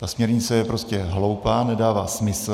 Ta směrnice je prostě hloupá, nedává smysl.